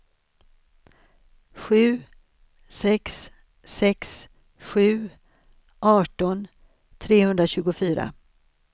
sju sex sex sju arton trehundratjugofyra